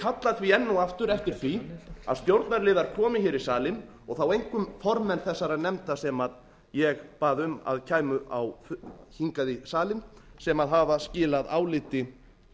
kalla því enn og aftur eftir því að stjórnarliðar komi hér í salinn og þá einkum formenn þessara nefnda sem ég bað um að kæmu hingað í salinn sem hafa skilað áliti